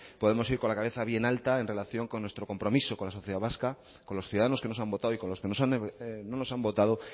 podemos ir con la cabeza bien alta en relación con nuestro compromiso con la sociedad vasca con los ciudadanos que nos han votado y con los que no nos han votado